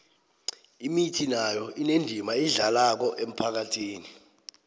imithi nayo inendima eyidlalako emphakhathini